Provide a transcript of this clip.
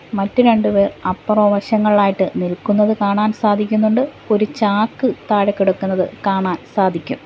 മറ്റു രണ്ടുപേർ അപ്പുറം വശങ്ങളിലായിട്ട് നിൽക്കുന്നത് കാണാൻ സാധിക്കുന്നുണ്ട് ഒരു ചാക്ക് താഴെ കിടക്കുന്നത് കാണാൻ സാധിക്കും.